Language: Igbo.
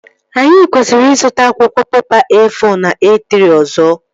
Anyị kwesịrị ịzụta akwụkwọ pepa E-fọ na E-trị ọzọ